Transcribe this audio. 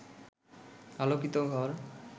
আলোকিত ঘর